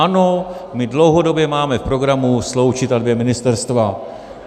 Ano, my dlouhodobě máme v programu sloučit ta dvě ministerstva.